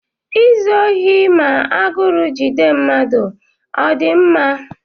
Izu ohi ma agụrụ jide mmadụ ọ dị mma?